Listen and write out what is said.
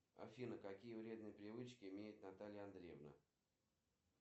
джой мне нужен терапевт в поликлинике имени боткина